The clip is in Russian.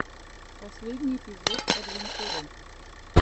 последний эпизод адвентуры